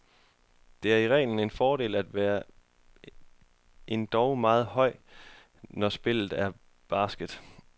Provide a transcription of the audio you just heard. Det er i reglen en fordel at være endog meget høj, når spillet er basket.